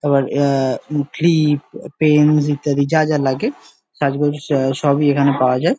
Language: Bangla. আবার আহ মুখি-ই পেন ইত্যাদি যা যা লাগে কালীপূজোর সব সবই এখানে পাওয়া যায় ।